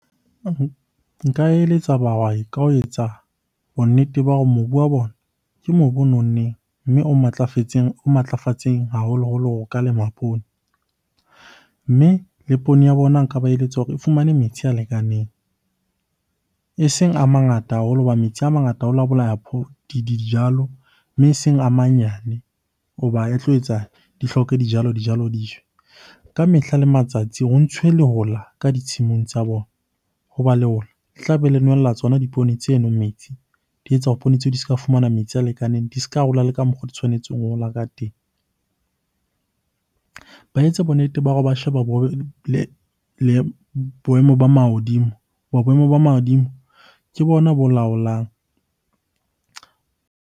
Nka eletsa bahwai ka ho etsa bonnete ba hore mobu wa bona ke mobu o nonneng, mme o matlafatseng haholoholo hore o ka lema poone. Mme le poone ya bona nka ba eletsa hore e fumane metsi a lekaneng, eseng a mangata haholo hoba metsi a mangata a bolaya dijalo. Mme eseng a manyane hoba e tlo etsa di hloke dijalo, dijalo di . Ka mehla le matsatsi ho ntshuwe lehola ka ditshimong tsa bona. Hoba lehola le tlabe le nwella tsona dipoone tseno metsi, di etsa hore poone tseo di se ka fumana metsi a lekaneng, di s'ka hola le ka mokgo di tshwanetseng ho hola ka teng. Ba etse bonnete ba hore ba sheba boemo ba mahodimo hoba boemo ba mahodimo ke bona bo laolang.